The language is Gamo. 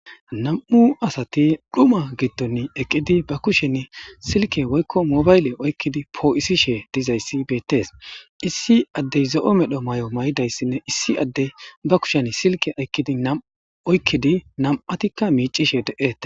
Nam'u asati dhuma giddon eqqidi ba kushen silke woykko mobayle oykkidi poo'isishe dizayssi beettees issi addey zo'o medho may'o may'idayssinne issi addey ba kushen silke aykkidi nam'u oykkidi nam'atikka miicishe de'e